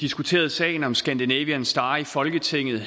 diskuterede sagen om scandinavian star i folketinget